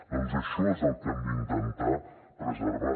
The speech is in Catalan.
doncs això és el que hem d’intentar preservar